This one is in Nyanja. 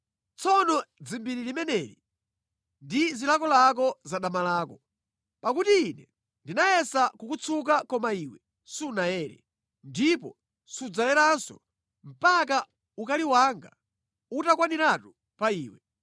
“ ‘Tsono dzimbiri limeneli ndi zilakolako za dama lako. Pakuti ine ndinayesa kukutsuka koma iwe sunayere, ndipo sudzayeranso mpaka ukali wanga utakwaniratu pa iwe.